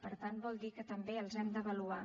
per tant vol dir que també els hem d’avaluar